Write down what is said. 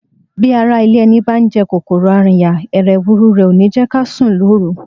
Bí ará ilé ẹni bá ń jẹ kòkòrò arìnyà, hẹ̀rẹ̀huru rẹ̀ ò ní jẹ́ ká sùn lóru.